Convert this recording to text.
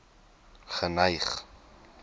geneig